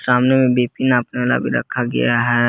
सामने में बी_पी नापने वाला भी रखा गया है।